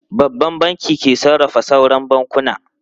Babban Bankin ke sarrafa sauran bankunan.